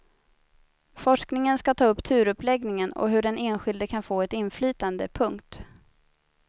Forskningen ska ta upp turuppläggningar och hur den enskilde kan få ett inflytande. punkt